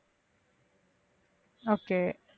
okay